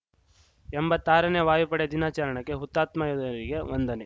ಎಂಬತ್ತಾರನೇ ವಾಯುಪಡೆ ದಿನಾಚರಣೆಗೆ ಹುತಾತ್ಮ ಯೋಧರಿಗೆ ವಂದನೆ